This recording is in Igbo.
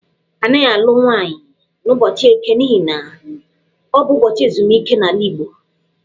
A naghị alụ nwaanyị n'ụbọchị Eke n'ihi na, ọ bụ ubọchị ezumike n'ala Igbo.